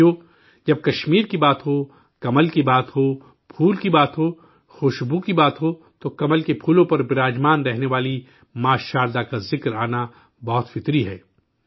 ساتھیو، جب کشمیر کی بات ہو، کمل کی بات ہو، پھول کی بات ہو، خوشبو کی بات ہو، تو کمل کے پھول پر تشریف فرما ماں شاردا کی یاد آنا بہت فطری ہے